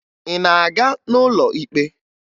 Ị na-aga n'ụlọ ikpe?